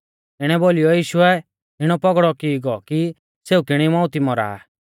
इणै बोलीयौ यीशुऐ इणौ पौगड़ौ की गौ कि सेऊ किणी मौउतिऐ मौरा आ